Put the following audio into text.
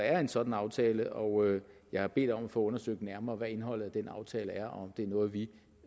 er en sådan aftale og jeg har bedt om at få undersøgt nærmere hvad indholdet af den aftale er og om det er noget vi